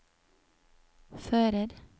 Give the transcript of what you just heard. fører